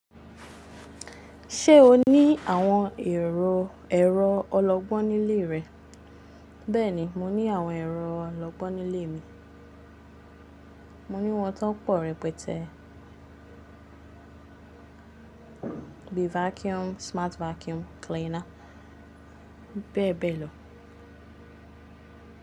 Ṣé o ní àwọn ero ẹ̀rọ ọlọgbọ́n nílé rẹ? Bẹ́ẹ̀ni, mo ní àwọn ẹ̀rọ ọlọgbọ́n nílé mi. Mo ní wọn tán pọ̀ rẹpẹtẹ. Bíi vacuum, smart vacuum cleaner bẹ́ẹ̀ bẹ́ẹ̀ lọ.